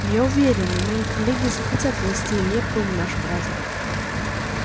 я уверен и мои коллеги захотят внести лепту в наш праздник